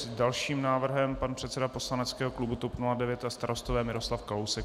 S dalším návrhem pan předseda poslaneckého klubu TOP 09 a Starostové Miroslav Kalousek.